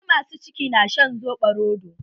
Wasu ma su ciki na shan soɓo rodo